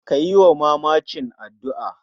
Kayi wa mamacin addu'ar?